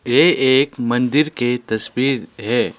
ये एक मंदिर के तस्वीर है।